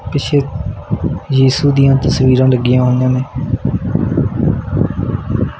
ਪਿੱਛੇ ਯਿਸੂ ਦੀਆਂ ਤਸਵੀਰਾਂ ਲੱਗੀਆਂ ਹੋਈਆਂ ਨੇ।